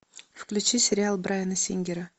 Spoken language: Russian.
включи сериал брайана сингера